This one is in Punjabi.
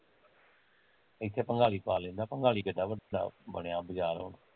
ਇੱਥੇ ਭਾਂਗਾਲੀ ਪਾ ਲੈਂਦਾ ਭਾਂਗਾਲੀ ਕਿੱਡਾ ਵੱਡਾ ਬਣਿਆ ਬਜ਼ਾਰ ਹੁਣ